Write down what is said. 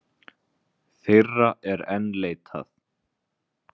Þeirra er enn leitað